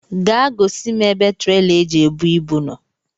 Gaa gosi m ebe traila e ji ebu ibu nọ